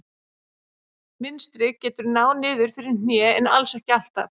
Mynstrið getur náð niður fyrir hné en alls ekki alltaf.